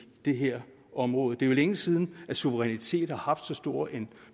det her område det er jo længe siden at suverænitet har haft så stor en